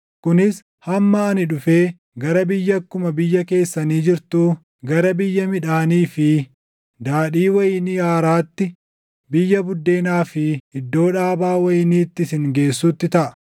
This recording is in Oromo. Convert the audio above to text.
kunis hamma ani dhufee gara biyya akkuma biyya keessanii jirtuu, gara biyya midhaanii fi daadhii wayinii haaraatti, biyya buddeenaa fi iddoo dhaabaa wayiniitti isin geessutti taʼa.